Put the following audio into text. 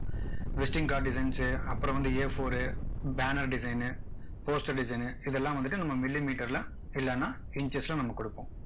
visting card designs அப்பறம் வந்து a four ரு banner design post design னு இதெல்லாம் வந்துட்டு நம்ம millimeter ல இல்லனா inches ல நம்ம கொடுப்போம்